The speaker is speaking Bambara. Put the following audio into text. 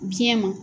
Biɲɛ ma